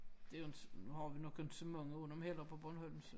Det inte har vi nok inte så mange af dem heller på Bornholm så